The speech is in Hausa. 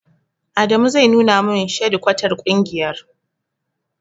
Adamu zai nuna min shadikwatar ƙungiyar.